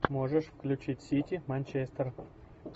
можешь включить сити манчестер